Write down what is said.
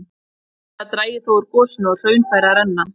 Fljótlega drægi þó úr gosinu og hraun færi að renna.